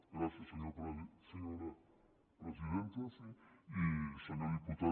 gràcies senyora presidenta i senyor diputat